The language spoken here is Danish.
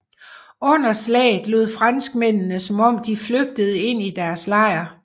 Under slaget lod franskmændene som om de flygtede ind i deres lejr